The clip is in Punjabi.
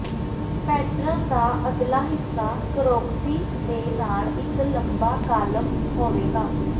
ਪੈਟਰਨ ਦਾ ਅਗਲਾ ਹਿੱਸਾ ਕ੍ਰੋਕਸੀ ਦੇ ਨਾਲ ਇੱਕ ਲੰਬਾ ਕਾਲਮ ਹੋਵੇਗਾ